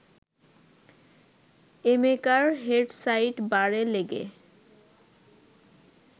এমেকার head side বারে লেগে